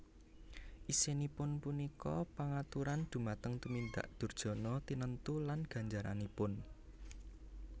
Isinipun punika pangaturan dhumateng tumindak durjana tinentu lan ganjaranipun